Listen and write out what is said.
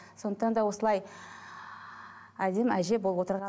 сондықтан да осылай әдемі әже болып отырған